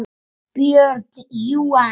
BJÖRN: Jú, en.